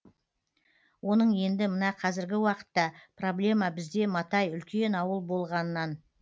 оның енді мына қазіргі уақытта проблема бізде матай үлкен ауыл болғаннан